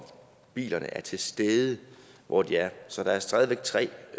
bilerne er til stede hvor de er så der er stadig væk tre